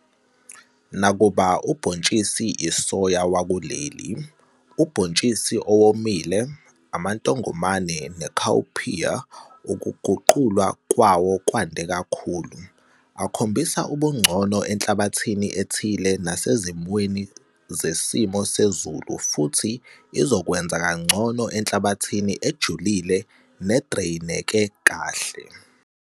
Nakuba ubhontshisi isoya wakuleli, ubhontshisi owomile, amantongomane ne-cowpea ukuguqulwa kwawo kwande kakhulu, akhombisa ubungcono enhlabathini ethile nasezimweni zesimo sezulu futhi izokwenza kangcono enhlabathini ejulile nedreyineke kahle.